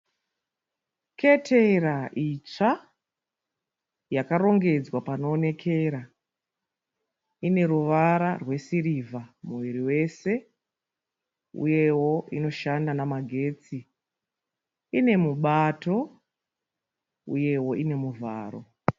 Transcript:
Ketera isva yakarongedzwa panowonekera, ineruva rwe siriva muviri wese uye wo inoshanda nemagetsi. Inemupato uye wo unemuvaro.